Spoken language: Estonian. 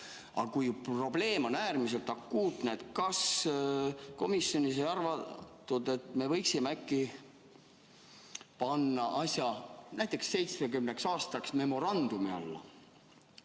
Aga kui probleem on äärmiselt akuutne, siis kas komisjonis ei arutatud, et me võiksime äkki panna asja näiteks 70 aastaks memorandumi alla?